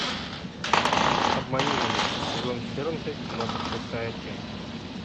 обмани меня сезон четырнадцать двадцать шестая часть